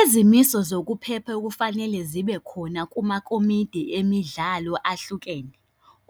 Izimiso zokuphepha okufanele zibe khona kumakomidi emidlalo ahlukene,